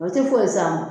O tɛ foyi s'a ma